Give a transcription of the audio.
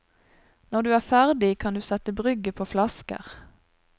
Når du er ferdig, kan du sette brygget på flasker.